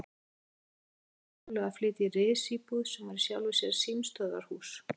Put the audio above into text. Oddur bauð þeim Sólu að flytja í risíbúð sem var í sjálfu símstöðvarhúsinu.